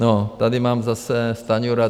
No tady mám zase - Stanjura.